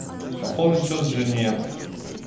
пополнить счет жене